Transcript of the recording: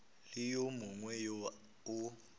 le wo mongwe wo o